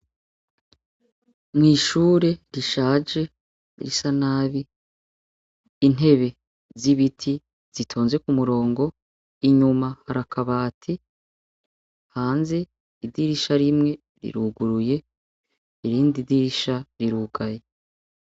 Mw'ishure rishaje risa nabi intebe z'ibiti zitonze ku murongo inyuma harakabati hanze idirisha rimwe riruguruye irindi idirisha rirugaye.